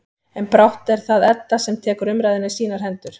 En brátt er það Edda sem tekur umræðuna í sínar hendur.